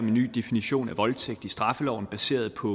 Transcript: en ny definition af voldtægt i straffeloven baseret på